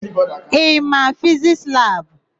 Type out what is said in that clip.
Ị ma Fizisti labụ?